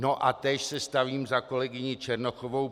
No a též se stavím za kolegyni Černochovou.